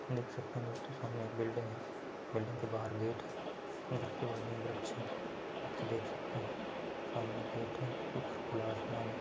देख सकते हैं दोस्तों सामने एक बिलिडिंग हैं बिल्डिंग के बाहर गेट हैं गेट के बाहर अंगरक्षक हैं देख सकते हैं सामने गेट हैं ऊपर खुला आसमान हैं।